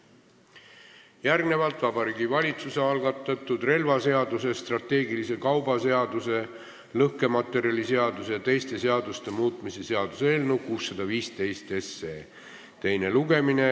Järgnevalt Vabariigi Valitsuse algatatud relvaseaduse, strateegilise kauba seaduse, lõhkematerjaliseaduse ja teiste seaduste muutmise seaduse eelnõu 615 teine lugemine.